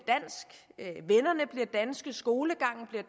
danske skolegangen bliver